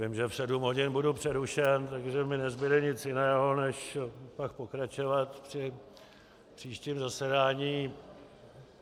Vím, že v sedm hodin budu přerušen, takže mi nezbude nic jiného než pak pokračovat při příštím zasedání.